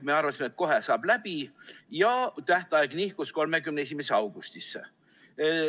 Me arvasime, et kohe saab see läbi, ja tähtaeg nihkus 31. augustisse.